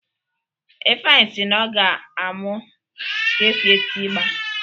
Ifeanyi si na ọ ga-amụ ka esi eti igba